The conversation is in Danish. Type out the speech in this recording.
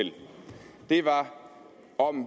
det var om